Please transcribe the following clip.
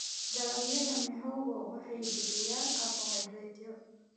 Dalagyada mihogo waxay bixiyaan karbohaydraytyo.